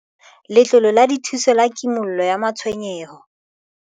Letlole la Dithuso la Kimollo ya Matshwenyeho